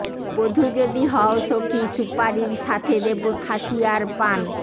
বধু যদি হও সখি সুপারির সাথে দেব খাসিয়ার পান